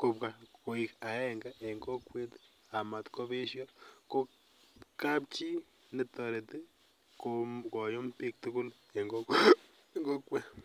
kobwa koik agenge en kokwet amatkobesio, kapchi netoreto koyum biik tugul en kokwet.